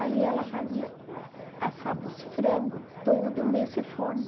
Aí ela fazia, assava os frango tudo nesse forno.